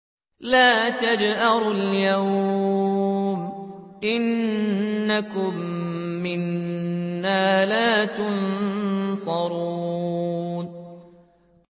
لَا تَجْأَرُوا الْيَوْمَ ۖ إِنَّكُم مِّنَّا لَا تُنصَرُونَ